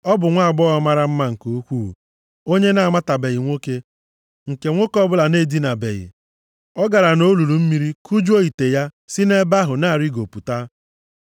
Ọ bụ nwaagbọghọ mara mma nke ukwuu, onye na-amatabeghị nwoke, nke nwoke ọbụla na-edinabeghị. Ọ gara nʼolulu mmiri kujuo ite ya si nʼebe ahụ na-arịgopụta.